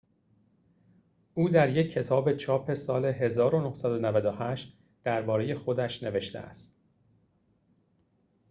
او در یک کتاب چاپ سال ۱۹۹۸ درباره خودش نوشته است